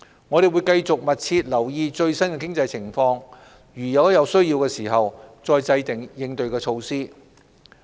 我們會繼續密切留意最新經濟情況，在有需要時制訂應對措施。